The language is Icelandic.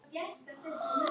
Ég sest.